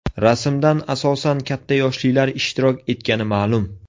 Rasmdan asosan katta yoshlilar ishtirok etgani ma’lum.